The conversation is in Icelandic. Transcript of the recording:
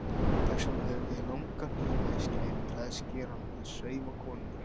Þess vegna höfum við langa hnífa í skærum klæðskerans eða saumakonunnar.